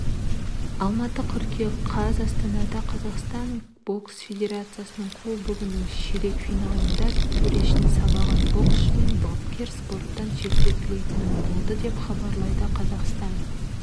алматы қыркүйек қаз астанада қазақстан бокс федерациясының кубогының ширек финалында төрешіні сабаған боксшы мен бапкер спорттан шеттетілетін болды деп хабарлады қазақстан